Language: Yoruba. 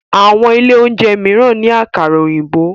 Àwọn ilé oúnjẹ míràn ní Àkàrà òyìnbó.